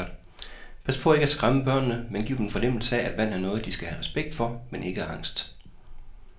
Pas på ikke at skræmme børnene, men giv dem en fornemmelse af, at vand er noget, de skal have respekt for, men ikke angst.